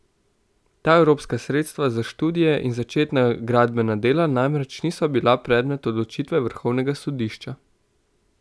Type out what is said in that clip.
Ta evropska sredstva za študije in začetna gradbena dela namreč niso bila predmet odločitve vrhovnega sodišča.